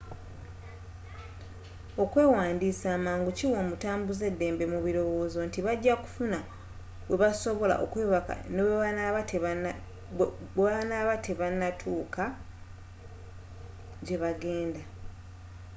okwewandisa amangu kiwa omutambuze eddembe mu birowozo nti bajja kufuna webasobola okwebaka bwebanatuuka gyebagenda